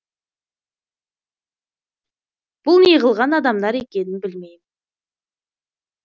бұл неғылған адамдар екенін білмеймін